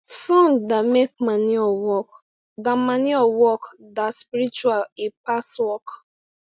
song da make manure work da manure work da spiritual e pass work